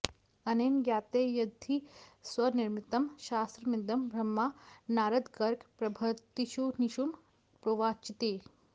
अनेन ज्ञायते यद्धि स्वनिर्मितं शास्त्रमिदं ब्रह्मा नारदगर्गप्रभृतीनुषीन् प्रोवाचेति